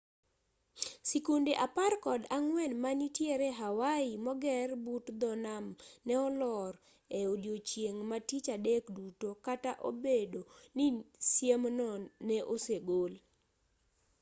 sikunde apar kod ang'wen manitiere hawaii moger but dho nam ne olor e odiechieng' ma tich adek duto kata obedo ni siemno ne osegol